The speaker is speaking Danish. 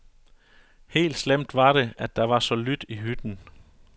Helt slemt var det, at der var så lydt i hytten.